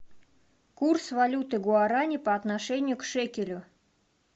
курс валюты гуарани по отношению к шекелю